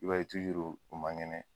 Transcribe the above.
I b'a ye tuzuru u man kɛnɛ.